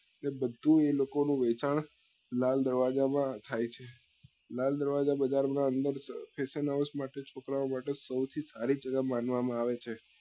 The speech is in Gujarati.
એ બધું એ લોકો નું વહેચાણ લાલ દરવાજા માં થાય છે લાલ દરવાજા બજાર ના અંદર fashion house માટે છોકરા ઓ માટે સૌથી સારી જગ્યા માનવા માં આવે છે